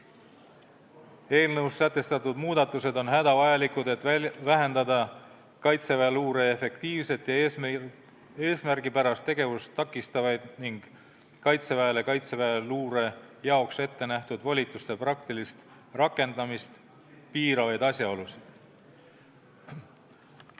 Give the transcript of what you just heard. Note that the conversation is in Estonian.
Eelnõus sätestatud muudatused on hädavajalikud, et vähendada Kaitseväe luure efektiivset ja eesmärgipärast tegevust takistavaid ning Kaitseväele Kaitseväe luure jaoks ettenähtud volituste praktilist rakendamist piiravaid asjaolusid.